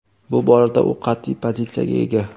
Bu borada u qat’iy pozitsiyaga ega.